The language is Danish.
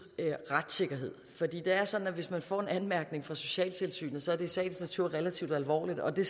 retssikkerhed for det er sådan at hvis man får en anmærkning fra socialtilsynet så er det i sagens natur relativt alvorligt og det